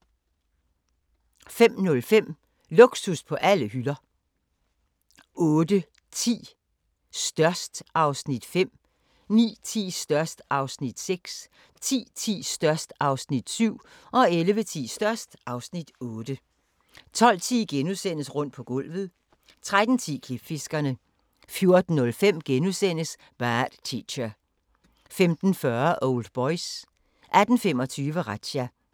05:05: Luksus på alle hylder 08:10: Størst (Afs. 5) 09:10: Størst (Afs. 6) 10:10: Størst (Afs. 7) 11:10: Størst (Afs. 8) 12:10: Rundt på gulvet * 13:10: Klipfiskerne 14:05: Bad Teacher * 15:40: Old Boys 18:25: Razzia